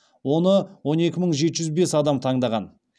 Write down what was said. оны он екі мың жеті жүз бес адам таңдаған